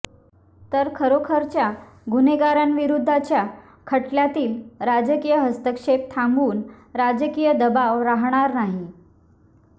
तर खरोखरच्या गुन्हेगारां विरुद्धच्या खटल्यातील राजकीय हस्तक्षेप थांबून राजकीय दबाव राहणार नाही